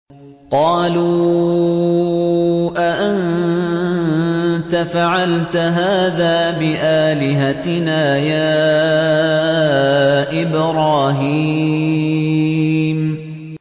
قَالُوا أَأَنتَ فَعَلْتَ هَٰذَا بِآلِهَتِنَا يَا إِبْرَاهِيمُ